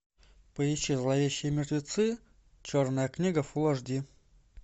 поищи зловещие мертвецы черная книга фул эйч ди